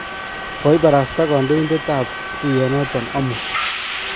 kioibarasta kandoindetab tuyonoto omut